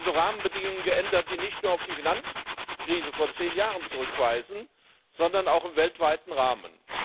Es haben sich also Rahmenbedingungen geändert, die nicht nur auf die Finanzkrise vor zehn Jahren zurückweisen, sondern auch im weltweiten Rahmen.